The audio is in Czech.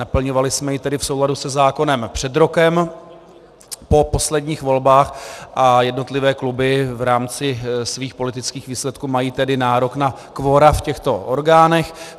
Naplňovali jsme ji tedy v souladu se zákonem před rokem po posledních volbách a jednotlivé kluby v rámci svých politických výsledků mají tedy nárok na kvora v těchto orgánech.